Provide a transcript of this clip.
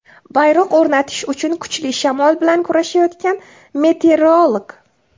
Bayroq o‘rnatish uchun kuchli shamol bilan kurashayotgan meteorolog.